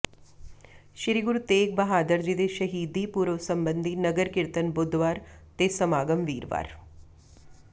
ਸ੍ਰੀ ਗੁਰੂ ਤੇਗ ਬਹਾਦਰ ਜੀ ਦੇ ਸ਼ਹੀਦੀ ਪੁਰਬ ਸੰਬੰਧੀ ਨਗਰ ਕੀਰਤਨ ਬੁੱਧਵਾਰ ਤੇ ਸਮਾਗਮ ਵੀਰਵਾਰ